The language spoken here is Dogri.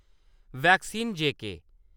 वैक्सीन जेके